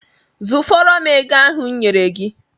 Zụfọrọ m ego ahụ m nyere gị!